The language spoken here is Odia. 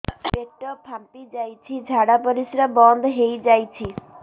ପେଟ ଫାମ୍ପି ଯାଇଛି ଝାଡ଼ା ପରିସ୍ରା ବନ୍ଦ ହେଇଯାଇଛି